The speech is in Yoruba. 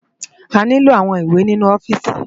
Àniló áwòn iwé ninú òfìsí